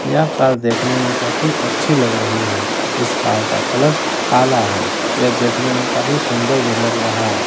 यह कार देखने में काफी अच्छी लग रही है इस कार का कलर काला है यह देखने में कॉफी सुंदर भी लग रहा है।